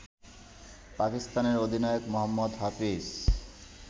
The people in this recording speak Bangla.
পাকিস্তানের অধিনায়ক মোহাম্মদ হাফিজ